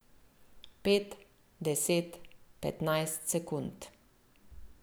Pet, deset, petnajst sekund.